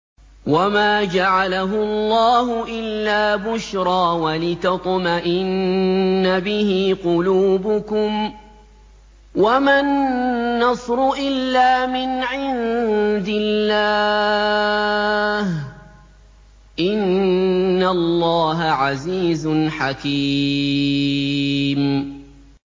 وَمَا جَعَلَهُ اللَّهُ إِلَّا بُشْرَىٰ وَلِتَطْمَئِنَّ بِهِ قُلُوبُكُمْ ۚ وَمَا النَّصْرُ إِلَّا مِنْ عِندِ اللَّهِ ۚ إِنَّ اللَّهَ عَزِيزٌ حَكِيمٌ